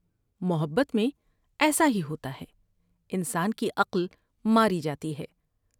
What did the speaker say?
محبت میں ایسا ہی ہوتا ہے۔ انسان کی عقل ماری جاتی ہے ۔